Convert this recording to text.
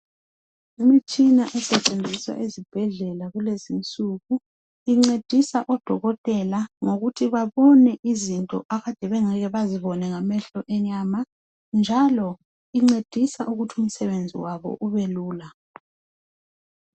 Imitshina esetshenziswa ezibhedlela kulezi insuku incedisa odokotela ngokuthi babone izinto abade bengeke bazibone ngamehlo enyama njalo incedisa ukuthi umsebenzi walo ubelula.